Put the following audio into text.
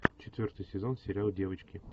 четвертый сезон сериал девочки